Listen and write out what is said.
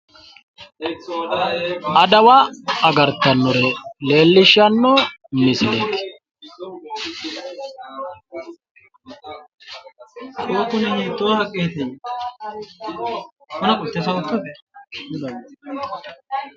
adawa agartannore leellishshanno misileeti.